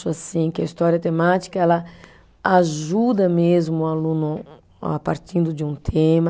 assim que a história temática ela ajuda mesmo o aluno a partindo de um tema.